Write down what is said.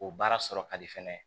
O baara sɔrɔ ka di fɛnɛ